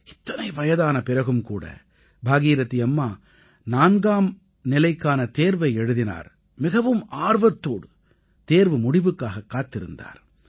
இத்தனை வயதான பிறகும்கூட பாகீரதீ அம்மா 4ஆம் நிலைக்கான தேர்வை எழுதினார் மிகவும் ஆர்வத்தோடு தேர்வு முடிவுக்காகக் காத்திருந்தார்